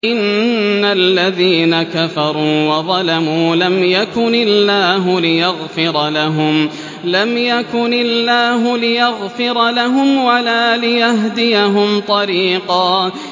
إِنَّ الَّذِينَ كَفَرُوا وَظَلَمُوا لَمْ يَكُنِ اللَّهُ لِيَغْفِرَ لَهُمْ وَلَا لِيَهْدِيَهُمْ طَرِيقًا